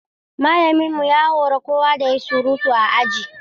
Malamin mu ya hori kowa da ya yi surutu a aji.